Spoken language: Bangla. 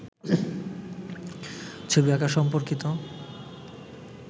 ছবি আঁকা সম্পর্কিত